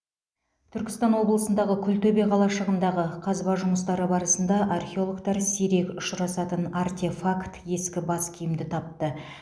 түркістан облысындағы күлтөбе қалашығындағы қазба жұмыстары барысында археологтар сирек ұшырасатын артефакт ескі бас киімді тапты